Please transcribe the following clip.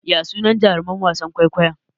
Ya sunan jaruman wasan kwaikwayon?